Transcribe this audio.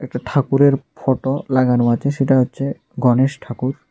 একটা ঠাকুরের ফটো লাগানো আছে সেটা হচ্ছে গণেশ ঠাকুর।